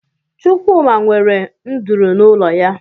Chụkwụma nwere ndụrụ n'ụlọ ya